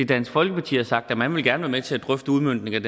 dansk folkeparti har sagt at man gerne vil til at drøfte udmøntningen